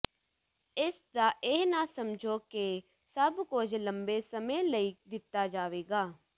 ਇਸਦਾ ਇਹ ਨਾ ਸਮਝੋ ਕਿ ਸਭ ਕੁਝ ਲੰਬੇ ਸਮੇਂ ਲਈ ਦਿੱਤਾ ਜਾਵੇਗਾ